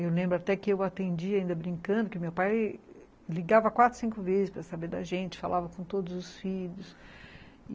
Eu lembro até que eu atendia ainda brincando, que meu pai ligava quatro, cinco vezes para saber da gente, falava com todos os filhos.